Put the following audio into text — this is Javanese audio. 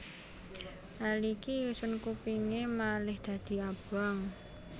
Nalika isin kupingé malih dadi abang